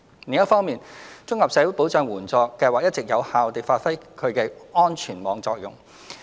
另一方面，綜合社會保障援助計劃一直有效地發揮其安全網功能。